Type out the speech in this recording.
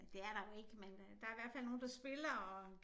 Nej det er der jo ikke men øh der i hvert fald nogen der spiller og